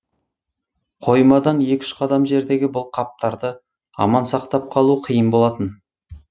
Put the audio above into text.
қоймадан екі үш қадам жердегі бұл қаптарды аман сақтап қалу қиын болатын